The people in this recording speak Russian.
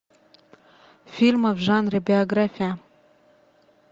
фильмы в жанре биография